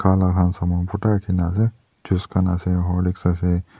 khala han saman bhorta rakhina ase juice khan ase horlicks ase.